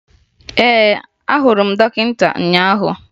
Ee, ahụrụ m dọkịta ụnyaahụ